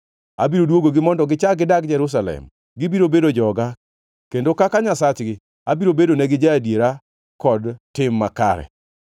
Abiro dwogogi mondo gichak gidag Jerusalem; gibiro bedo joga, kendo kaka Nyasachgi abiro bedonegi ja-adiera kod tim makare.”